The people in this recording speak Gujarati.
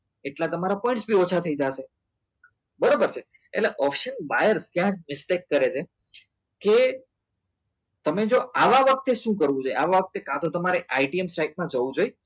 એટલા તમારા પર ઓછા થઈ જશે બરોબર છે એટલે ઓપ્શન બહાર ક્યાંક respect કરે છે કે તમે જો આવા વખતે શું કરવું જોઈએ આવો વખતે કાં તો તમારે ITM સાઈડ માં જવું જોઈએ